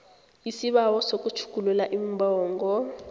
isibawo sokutjhugulula iimbongo